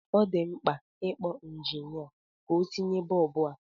Ọ dị mkpa ị kpọ injinịa ka o tinye bọb a.